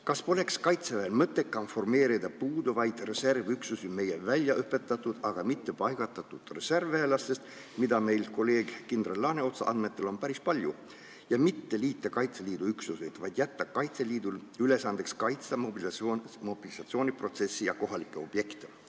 Kas poleks Kaitseväel mõttekam formeerida puuduvaid reservüksusi meie väljaõpetatud, aga mitte üksustesse paigutatud reservväelastest, keda meil kolleeg kindral Laaneotsa andmetel on päris palju, ja mitte liita armeega Kaitseliidu üksusi, vaid jätta Kaitseliidu ülesandeks kaitsta mobilisatsiooniprotsessi ja kohalikke objekte?